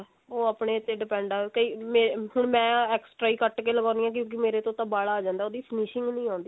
ਉਹ ਆਪਣੇ ਤੇ depend ਹੈ ਕਈ ਮੈਂ ਹੁਣ ਮੈਂ ਹਾਂ extra ਹੀ ਘੱਟ ਕੇ ਲਗਾਉਂਦੀ ਹਾਂ ਕਿਉਂਕਿ ਮੇਰੇ ਤੋਂ ਤਾ ਬਲ ਆ ਜਾਂਦਾ ਉਹਦੀ finishing ਹੀ ਨਹੀਂ ਆਉਂਦੀ